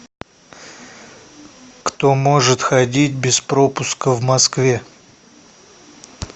кто может ходить без пропуска в москве